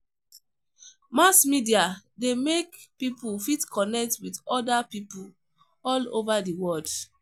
Mass media de make pipo fit connect with other pipo all over di world